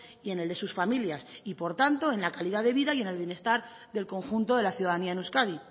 y en el de sus familias y por tanto en la calidad de vida y en el bienestar del conjunto de la ciudadanía en euskadi